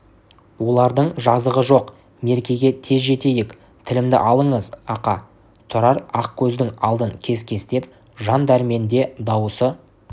олардың жазығы жоқ меркеге тез жетейік тілімді алыңыз ақа тұрар ақкөздің алдын кес-кестеп жан дәрменде дауысы